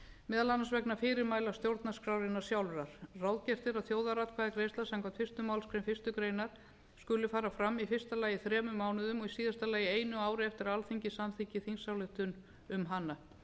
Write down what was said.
meðal annars vegna fyrirmæla stjórnarskrárinnar sjálfrar ráðgert er að þjóðaratkvæðagreiðsla samkvæmt fyrstu málsgrein fyrstu grein skuli fara fram í fyrsta lagi þremur mánuðum og í síðasta lagi einu ári eftir að alþingi samþykkti þingsályktun um hana